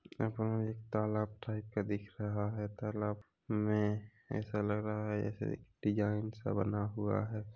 यहाँ पे मुझे एक तालाब टाइप का दिख रहा है तालाब में ऐसा लग रहा है जैसे डिज़ाइन सा बना हुआ है।